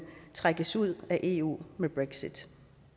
trækkes ud af eu med brexit